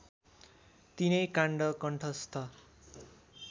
तीनै काण्ड कण्ठस्थ